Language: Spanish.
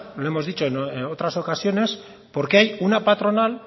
lo hemos dicho en otras ocasiones porque hay una patronal